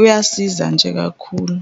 Uyasiza nje kakhulu.